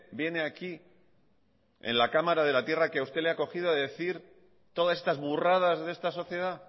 viene aquí en la cámara de la tierra que a usted le ha acogido a decir todas estas burradas de esta sociedad